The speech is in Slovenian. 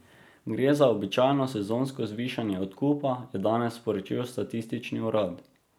Gre za običajno sezonsko zvišanje odkupa, je danes sporočil statistični urad.